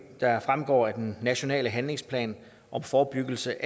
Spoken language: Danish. der fremgår af den nationale handlingsplan om forebyggelse